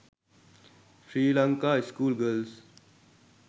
sri lanka school girls